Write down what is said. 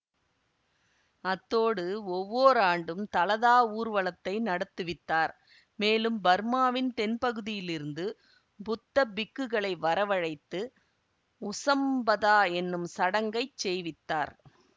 அத்தோடு ஒவ்வோர் ஆண்டும் தலதா ஊர்வலத்தை நடத்துவித்தார் மேலும் பர்மாவின் தென் பகுதியிலிருந்து புத்த பிக்குகளை வரவழைத்து உசம்பதா என்னும் சடங்கைச் செய்வித்தார்